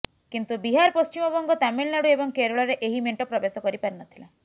କିନ୍ତୁ ବିହାର ପଶ୍ଚିମ ବଙ୍ଗ ତାମିଲନାଡ଼ୁ ଏବଂ କେରଳରେ ଏହି ମେଣ୍ଟ ପ୍ରବେଶ କରି ପାରିନଥିଲା